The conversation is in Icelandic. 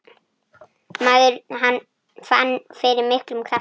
Maður fann fyrir miklum krafti.